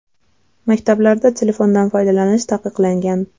Maktablarda telefondan foydalanish taqiqlangan.